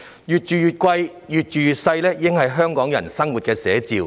"越住越貴，越住越細"已經是香港人的生活寫照。